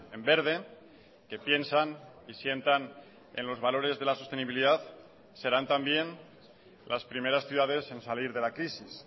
en verde que piensan y sientan en los valores de la sostenibilidad serán también las primeras ciudades en salir de la crisis